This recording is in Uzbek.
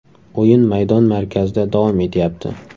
O‘yin maydon markazida davom etyapti.